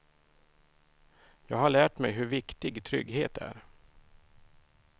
Jag har lärt mig hur viktig trygghet är.